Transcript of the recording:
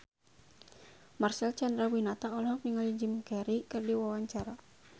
Marcel Chandrawinata olohok ningali Jim Carey keur diwawancara